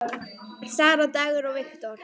Sara, Dagur og Victor.